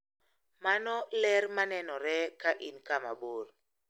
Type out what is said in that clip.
Mano ler ma nenore ka in kama bor.